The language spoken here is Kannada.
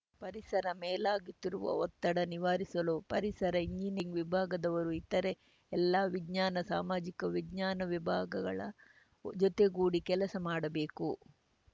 ಪರಿಸರ ಮೇಲಾಗುತ್ತಿರುವ ಒತ್ತಡ ನಿವಾರಿಸಲು ಪರಿಸರ ಇಂಜಿನಿಯರಿಂಗ್‌ ವಿಭಾಗದವರು ಇತರೆ ಎಲ್ಲಾ ವಿಜ್ಞಾನ ಸಾಮಾಜಿಕ ವಿಜ್ಞಾನ ವಿಭಾಗಗಳ ಜೊತೆಗೂಡಿ ಕೆಲಸ ಮಾಡಬೇಕು